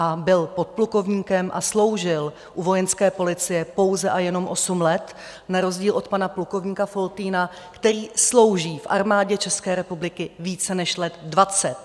A byl podplukovníkem a sloužil u Vojenské policie pouze a jenom osm let na rozdíl od pana plukovníka Foltýna, který slouží v Armádě České republiky více než let dvacet.